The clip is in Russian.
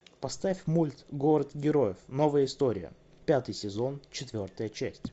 поставь мульт город героев новая история пятый сезон четвертая часть